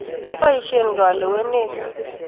Keboisie kalewenee.